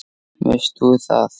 Veist þú það?